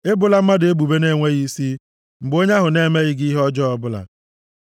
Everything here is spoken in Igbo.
Ebola mmadụ ebubo na-enweghị isi, mgbe onye ahụ na-emeghị gị ihe ọjọọ ọbụla.